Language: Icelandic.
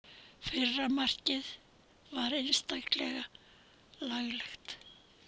Fyrra markið var einstaklega laglegt.